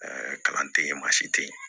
kalan tɛ yen maa si tɛ yen